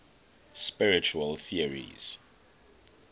spiritual theories